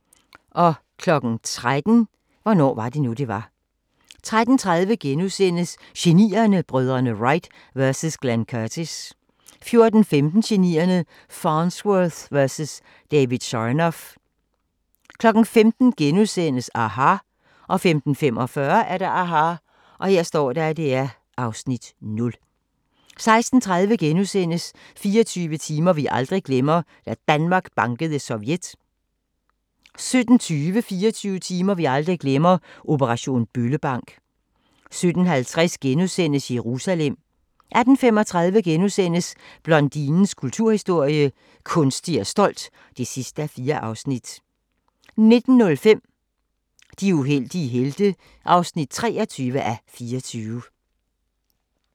13:00: Hvornår var det nu, det var? 13:30: Genierne: Brødrene Wright vs Glenn Curtis (4:8)* 14:15: Genierne: Farnsworth vs David Sarnoff 15:00: aHA! * 15:45: aHA! (Afs. 0) 16:30: 24 timer vi aldrig glemmer – Da Danmark bankede Sovjet * 17:20: 24 timer vi aldrig glemmer – Operation Bøllebank 17:50: Jerusalem * 18:35: Blondinens kulturhistorie – Kunstig og stolt (4:4)* 19:05: De uheldige helte (23:24)